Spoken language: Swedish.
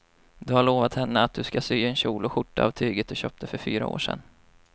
Du har lovat henne att du ska sy en kjol och skjorta av tyget du köpte för fyra år sedan.